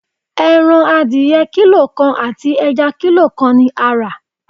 Ẹran adìẹ kílò kan àti ẹja kílò kan ni a rà.